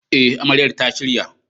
E, Amaryar ta shirya.